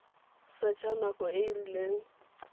setsha nako e e rileng